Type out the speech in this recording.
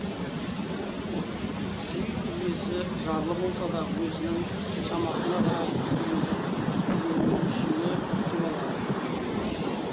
үй иесі жарлы болса да өзінің шамасына қарай күйшіні күтіп алады